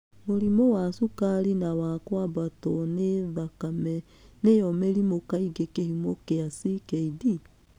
Mũrimũ wa cukari na wa kwambato nĩ thakame nĩyo mĩrĩmũ kaingĩ kĩhumo kĩa CKD.